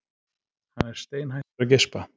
Hann er steinhættur að geispa.